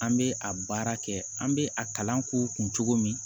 An bɛ a baara kɛ an bɛ a kalan k'u kun cogo min